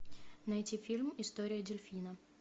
найти фильм история дельфина